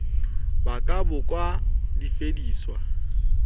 ba ka bo ka fediswa